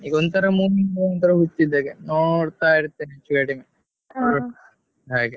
ಈಗ ಒಂದ್ ಸಲ movie ಹುಚ್ಚ್ ಇದ್ದ ಹಾಗೆ ನೋಡ್ತಾ ಹಾಗೆ.